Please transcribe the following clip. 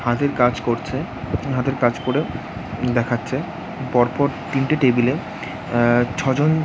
হাতের কাজ করছে | হাতের কাজ করে দেখাচ্ছে। পর পর তিনটে টেবিলে আ- ছজন--